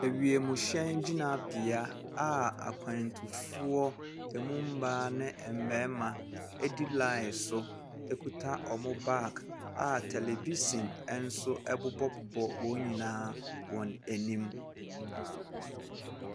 Awiemhyɛn gyinabea a akwantufoɔ emu mmaa ne mmɛma edi laen so ekuta ɔmo baag a televihyin enso ɛbobɔ bobɔ wɔn nyinaa anim.